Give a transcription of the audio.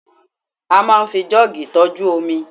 a ma n fi jug tọju omi